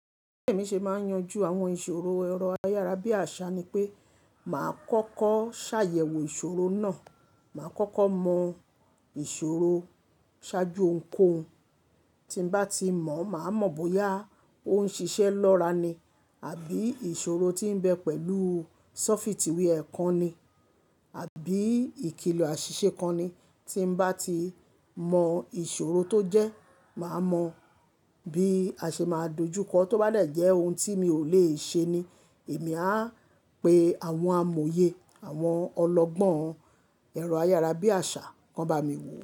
Bí èmi ṣe máa ń yanjú àwọn ìṣòro ẹ̀rọ ayárabíàṣá ni pé màá kọ́kọ́ ṣàyẹ̀wò ìṣòro náà, màá kọ́kọ́ mọ ìṣòro ṣáájú ohuǹkohun. Tí n bá ti mọ̀, màá mọ bóyá ó ń ṣiṣẹ́ lọ́ra ni àbí ìṣòro tí ń bẹ pẹ̀lú ṣọ́fítìwí ẹ̀ kan ni àbí ìkìlọ̀ àṣìṣe kan ni. Tí mo bá ti mọ ìṣòro tó jẹ́, màá mọ bí a ṣe máa dojúkọ. Tóbá dẹ̀ jẹ́ ohun tí mi ò lè ṣe ni, èmi á pe àwọn amòye àwọn ọlọ́gbọ́n ẹ̀rọ ayárabíàṣá, kan bá mi wò ó.